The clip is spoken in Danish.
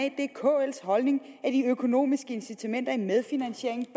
kls holdning at de økonomiske incitamenter i en medfinansiering